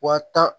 Wa tan